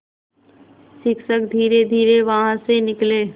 शिक्षक धीरेधीरे वहाँ से निकले